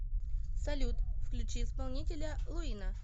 салют включи исполнителя луина